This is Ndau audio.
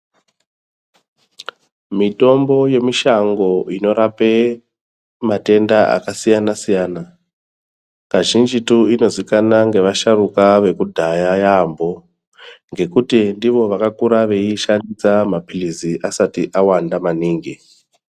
Mitombo yemushango inorape matenda akasiyana-siyana kazhinjitu inozikana ngeasharuka ekudhaya yaambo. Ngekuti ndivo vakakura veiishandisa maphirizi asati awanda maningi.